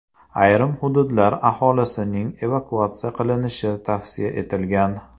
Ayrim hududlar aholisining evakuatsiya qilinishi tavsiya etilgan.